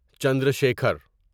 Chandra Shikhar